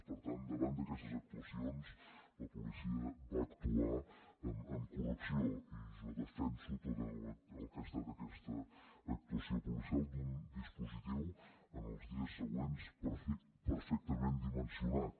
per tant davant d’aquestes actuacions la policia va actuar amb correcció i jo defenso tot el que ha estat aquesta actuació policial d’un dispositiu en els dies següents perfectament dimensionat